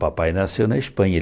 Papai nasceu na Espanha.